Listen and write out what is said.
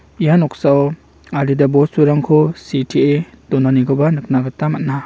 ia noksao adita bosturangko sitee donanikoba nikna gita man·a.